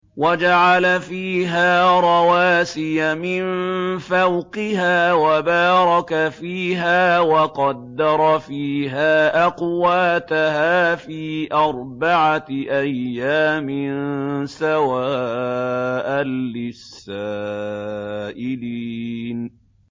وَجَعَلَ فِيهَا رَوَاسِيَ مِن فَوْقِهَا وَبَارَكَ فِيهَا وَقَدَّرَ فِيهَا أَقْوَاتَهَا فِي أَرْبَعَةِ أَيَّامٍ سَوَاءً لِّلسَّائِلِينَ